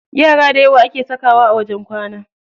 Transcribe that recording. Yara dayawa ake sakawa a wajen kwana.